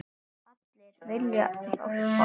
Allir vilja hjálpa.